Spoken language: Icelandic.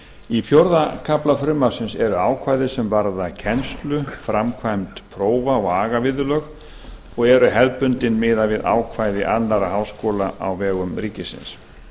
í fjórða kafla frumvarpsins eru ákvæði sem varða kennslu framkvæmd prófa og agaviðurlög og eru hefðbundin miðað við ákvæði annarra háskóla á vegum ríkisins